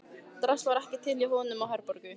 Drasl var ekki til hjá honum og Herborgu.